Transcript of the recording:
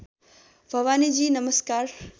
भवानीजी नमस्कार